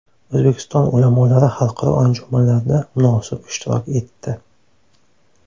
O‘zbekiston ulamolari xalqaro anjumanlarda munosib ishtirok etdi.